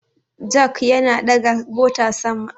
Jak Yana ɗaga mota sama